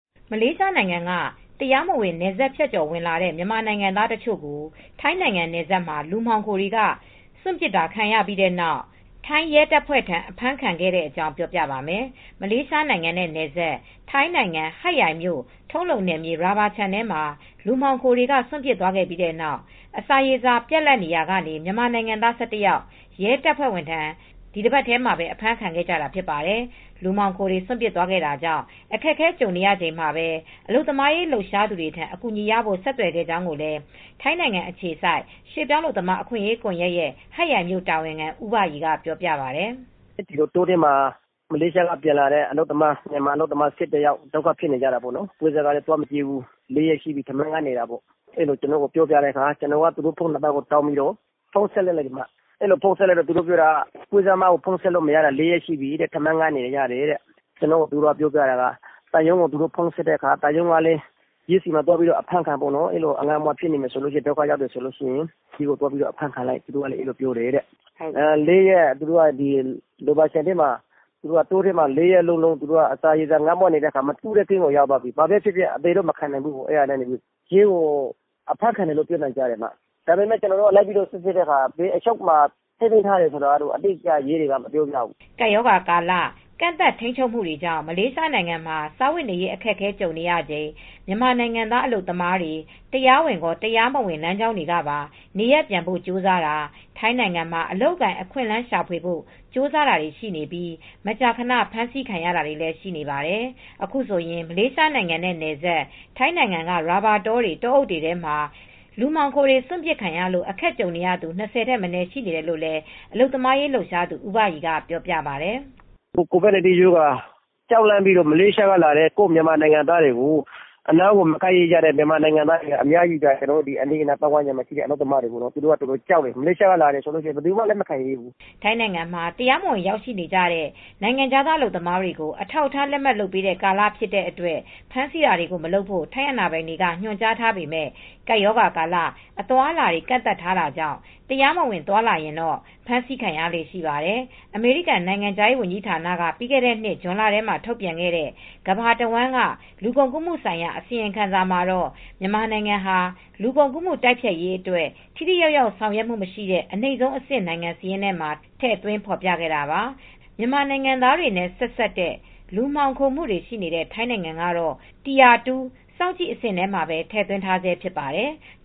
မလေးရှားနိုင်ငံက တရားမဝင် နယ်စပ်ဖြတ်ကျော်ဝင်လာတဲ့ မြန်မာနိုင်ငံသား တချို့ကို ထိုင်းနိုင်ငံနယ်စပ်မှာ လူမှောင်ခိုတွေက စွန့်ပစ်တာခံခဲ့ရပြီးနောက် ထိုင်းရဲတပ်ဖွဲ့ထံ အဖမ်းခံခဲ့တဲ့အကြောင်း ပြောပြပါမယ်။ ဗွီအိုအေမြန်မာပိုင်းသတင်းထောက် မအေးအေးမာက သတင်းပေးပို့ထားပါတယ်။ မလေးရှားနိုင်ငံနဲ့နယ်စပ် ထိုင်းနိုင်ငံ ဟတ်ရိုင်မြို့ ထုံးလုံနယ်မြေ ရာဘာခြံထဲမှာ လူမှောင်ခိုတွေက စွန့်ပစ်သွားခဲ့ပြီးနောက် အစာရေစာ ပြတ်လပ်လာရာက မြန်မာနိုင်ငံသား ၁၁ ယောက် ရဲတပ်ဖွဲ့ထံ ဒီတပတ်ထဲမှာပဲ အဖမ်းခံခဲ့ကြတာ ဖြစ်ပါတယ်။ လူမှောင်ခိုတွေ စွန့်ပစ်သွားခဲ့တာကြောင့် အခက်အခဲကြုံနေရချိန်မှာပဲ အလုပ်သမားရေးလှုပ်ရှားသူတွေထံ အကူအညီရဖို့ ဆက်သွယ်ခဲ့ကြောင်းလည်း ထိုင်းနိုင်ငံအခြေစိုက် ရွှေ့ပြောင်းအလုပ်သမား အခွင့်အရေးကွန်ယက်ရဲ့ ဟတ်ရိုင်မြို့ တာဝန်ခံ ဦးဘရီက ပြောပါတယ်။ “တောထဲက မလေးရှားက ပြန်လာတဲ့ အလုပ်သမား ၁၁ ယောက် ဒုက္ခရောက်နေတာပေါ့။ပွဲစားက ဖုန်းဆက်တာ လာမကြည့်ဘူး။ ထမင်းငတ်တာ ၄ ရက်လောက်ရှိပြီး ကျနော်က သူတို့ဆီကို ဆက်သွယ်ပြီး ဖုန်းဆက်တဲ့အခါမှာ သံရုံးကို သူတို့ဆက်တယ်။ အဲဒီလိုငတ်မွတ်ပြီး ဒုက္ခရောက်နေရင်တော့ ရဲဆီမှာ အဖမ်းခံလိုက်လို့ ပြောပြတယ်တဲ့ ရာဘာခြံထဲမှာ တောထဲမှာ ငတ်မွတ်နေတော့ အသေတော့မခံဘူး။ ရဲကို အဖမ်းခံလိုက်တယ်လို့ ပြောတယ်။ ဒါပေမဲ့ ရဲကို ကျနော်တို့ သွားမေးတော့ လိုက်စီစစ်တော့ သူတို့ကို ဘယ်အချုပ်ခန်းမှာ ထားတယ်ဆိုတာတော့ ရဲတွေက အတိအကျ မပြောပြဘူး။” ကပ်ရောဂါကာလ ကန့်သတ်ထိန်းချုပ်မှုတွေကြောင့် မလေးရှားနိုင်ငံမှာ စားဝတ်နေရေး အခက်အခဲ ကြုံနေရချိန် မြန်မာနိုင်ငံသား အလုပ်သမားတွေ တရားဝင်ရော၊ တရားမဝင် လမ်းကြောင်းတွေကပါ နေရပ်ပြန်ဖို့ ကြိုးစားတာ၊ ထိုင်းနိုင်ငံမှာ အလုပ်အကိုင်အခွင့်အလမ်း ရှာဖွေဖို့ ကြိုးစားတာတွေ ရှိနေပြီး မကြာခဏ ဖမ်းဆီးခံရတာတွေလည်း ရှိနေပါတယ်။ အခုဆိုရင် မလေးရှားနိုင်ငံနဲ့နယ်စပ် ထိုင်းနိုင်ငံက ရာဘာတောတွေ၊ တောအုပ်တွေထဲမှာ လူမှောင်ခိုတွေ စွန့်ပစ်ခံရလို့ အခက်ကြုံနေရသူ ၂၀ ထက်မနည်း ရှိနေတယ်လို့လည်း အလုပ်သမားရေး လှုပ်ရှားသူ ဦးဘရီကပြောပါတယ်။ “ကိုဗစ်ကပ်ရောဂါ ကြောက်လန့်ပြီး မလေးရှားက လာတဲ့ ကိုယ့်မြန်မာနိုင်ငံသားတွေကို အနားကို မကပ်ရဲကြတဲ့ မြန်မာနိုင်ငံသားတွေက အများကြီး ကျနော်တို့ အနီးအနားပတ်ဝန်းကျင်မှာ။ သူတို့က ကြောက်တယ်... မလေးရှားက လာတယ်ဆိုရင် ဘယသူမှ လက်မခံရဲဘူး။” ထိုင်းနိုင်ငံမှာ တရားမဝင် ရောက်ရှိနေတဲ့ နိုင်ငံခြားသား အလုပ်သမားတွေကို အထောက်အထား လက်မှတ်လုပ်ပေးတဲ့ ကာလဖြစ်တဲ့အတွက် ဖမ်းဆီးတာတွေ မလုပ်ဖို့ ထိုင်းအာဏာပိုင်တွေက ညွှန်ကြားထားပေမဲ့ ကပ်ရောဂါကာလ အသွားအလာတွေ ကန့်သတ်ထားတာကြောင့် တရားမဝင် သွားလာရင်တော့ ဖမ်းဆီးခံရလေ့ရှိပါတယ်။ အမေရိကန်နိုင်ငံခြားရေး ဝန်ကြီးဌာနက ပြီးခဲ့တဲ့နှစ် ဇွန်လထဲမှာ ထုတ်ပြန်ခဲ့တဲ့ ကမ္ဘာတဝန်းက လူကုန်ကူးမှုဆိုင်ရာ အစီရင်ခံစာမှာတော့ မြန်မာနိုင်ငံဟာ လူကုန်ကူးမှု တိုက်ဖျက်ရေးအတွက် ထိထိရောက်ရောက် ဆောင်ရွက်မှုမရှိတဲ့ အနိမ့်ဆုံးအဆင့် နိုင်ငံစာရင်းမှာ ထည့်သွင်းဖော်ပြခဲ့တာပါ။ မြန်မာနိုင်ငံသားတွေနဲ့ ဆက်စပ်တဲ့ လူမှောင်ခိုမှုတွေ ရှိနေတဲ့ ထိုင်းနိုင်ငံကတော့ tire 2 စောင့်ကြည့်အဆင့်မှာ ထည့်သွင်းထားဆဲ ဖြစ်ပါတယ်။